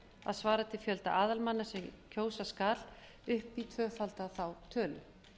að svara til fjölda aðalmanna sem kjósa skal upp í tvöfalda þá tölu